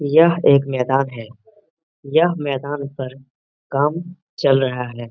यह एक मैदान है यह मैदान पर काम चल रहा है।